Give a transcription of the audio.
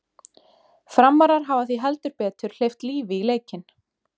Framarar hafa því heldur betur hleypt lífi í leikinn!